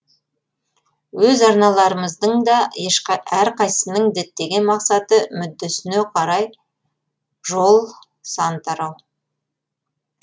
өз арналарымыздың да әрқайсысының діттеген мақсаты мүддесіне қарай жол сан тарау